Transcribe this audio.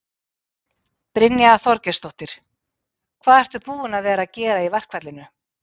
Brynja Þorgeirsdóttir: Hvað ertu búinn að vera að gera í verkfallinu?